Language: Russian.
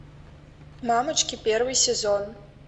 мамочки первый сезон